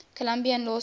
columbia law school